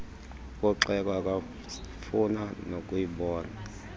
mpoxeko akafuna nokuyibona